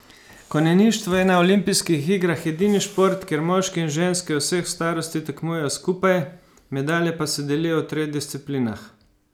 Konjeništvo je na olimpijskih igrah edini šport, kjer moški in ženske vseh starosti tekmujejo skupaj, medalje pa se delijo v treh disciplinah.